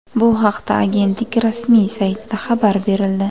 Bu haqda agentlik rasmiy saytida xabar berildi .